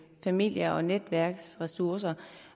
familie og netværksressourcer